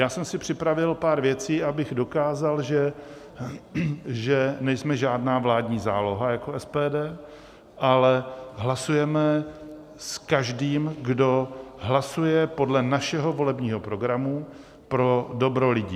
Já jsem si připravil pár věcí, abych dokázal, že nejsme žádná vládní záloha jako SPD, ale hlasujeme s každým, kdo hlasuje podle našeho volebního programu pro dobro lidí.